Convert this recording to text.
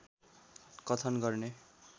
कथन गर्ने